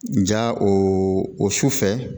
Nka o o sufɛ